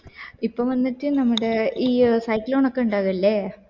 ഇപ്പൊ വന്നിട്ട് നമ്മുടെ ഈയ്യ് cyclone ഒക്കെ ഉണ്ടാവില്ലേ